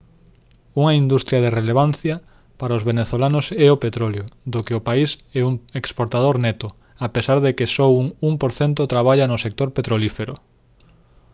unha industria de relevancia para os venezolanos é o petróleo do que o país é un exportador neto a pesar de que só un 1 % traballa no sector petrolífero